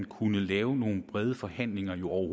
kunne lave nogle brede forhandlinger jo